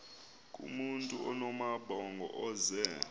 kumntu onamabhongo ozee